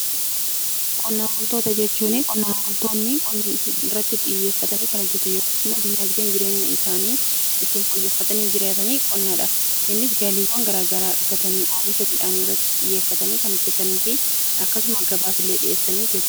Qonnaan bultoota jechuun qonnaan bultoota qonna irratti xiyyeeffatanii kan hojjetan yookiin diinagdeen jireenya isaanii ittiin fooyyeffatanii jiratan qonnaadha. Innis galiiwwan garaagaraa argatanii oomisha midhaanii irratti xiyyeeffatanii kan hojjetanii fi akkasumas gabaaf illee dhiyeessuu danda'u.